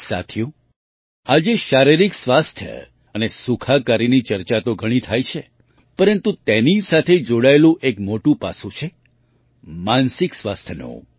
સાથીઓ આજે શારીરિક સ્વાસ્થ્ય અને સુખાકારીની ચર્ચા તો ઘણી થાય છે પરંતુ તેની સાથે જોડાયેલું એક મોટું પાસું છે માનસિક સ્વાસ્થ્યનું